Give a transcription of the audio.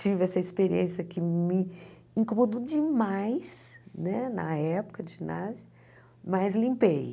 Tive essa experiência que me incomodou demais né na época de ginásio, mas limpei.